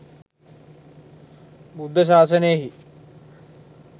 බුද්ධ ශාසනයෙහි